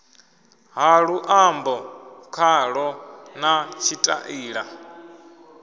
ha luambo khalo na tshitaila